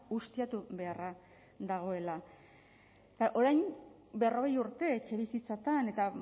ustiatu beharra dagoela orain berrogei urte etxebizitzatan eta